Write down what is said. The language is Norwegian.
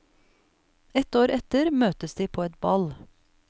Et år etter møtes de på et ball.